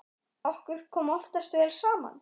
Okkur kom oftast vel saman.